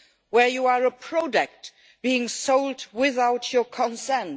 Where you are a product being sold without your consent?